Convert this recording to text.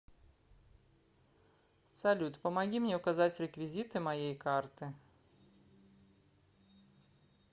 салют помоги мне указать реквизиты моей карты